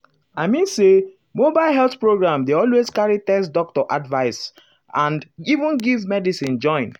i mean say mobile health program dey always carry test doctor advice ah and even give medicine join.